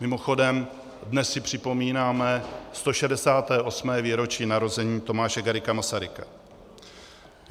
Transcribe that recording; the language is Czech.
Mimochodem, dnes si připomínáme 168. výročí narození Tomáše Garrigua Masaryka.